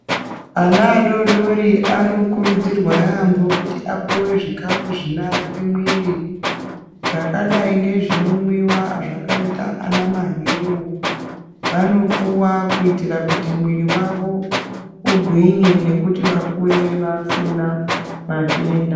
Ana adoodori anokurudzirwa yaambo kuti apuwe zvikafu zvinoake mwiiri zvakadai ngezvinomwiwa zvakaita ana mahewu. Vanopuwa kuitira kuti mwiiri wavo ugwinye nekuti vakure usina matenda.